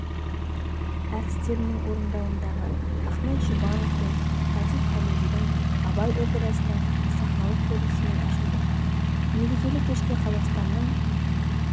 әртістерінің орындауындағы ахмет жұбанов пен латиф хамидидің абай операсының сахналық көрінісімен ашылды мерекелік кешке қазақстанның